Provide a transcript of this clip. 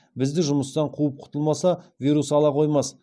бізді жұмыстан қуып құтылмаса вирус ала қоймас